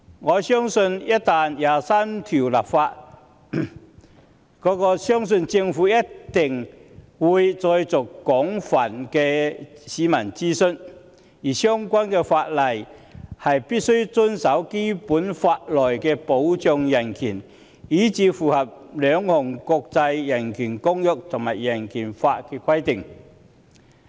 我相信就第二十三條的工作一旦展開，政府必定會再作廣泛公眾諮詢，而相關法例必須符合《基本法》內保障人權的條文，以及符合兩項國際人權公約和人權法的規定。